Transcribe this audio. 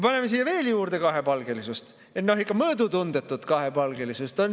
Paneme siia veel juurde kahepalgelisust, ikka mõõdutundetut kahepalgelisust.